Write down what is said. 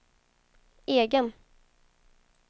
egen